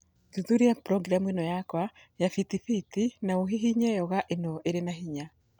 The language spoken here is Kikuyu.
Thuthuria programu yakwa ya Fitbit na ũhihinye yoga ĩno ĩrĩ na hinya